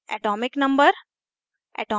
atomic number